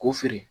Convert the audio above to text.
K'u feere